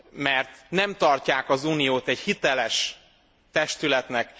mert nem tartják az Uniót egy hiteles testületnek.